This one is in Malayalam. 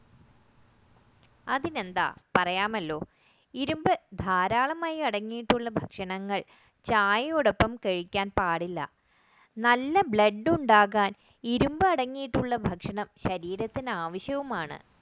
അതിനെന്താ പറയാമല്ലോ ഇരുമ്പ് ധാരാളം അടങ്ങിയിട്ടുള്ള ഭക്ഷണങ്ങൾ ചായയോടൊപ്പം കഴിക്കാൻ പാടില്ല നല്ല blood ഉണ്ടാകാൻ ഇരുമ്പ് അടങ്ങിയിട്ടുള്ള ഭക്ഷണം ശരീരത്തിന് ആവശ്യവുമാണ്